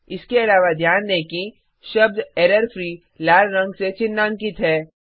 इसके अलावा ध्यान दें कि शब्द एररफ्री लाल रंग से चिन्हांकित है